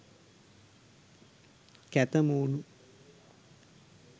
කැත මූණු..